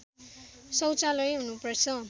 शौचालय हुनु पर्छ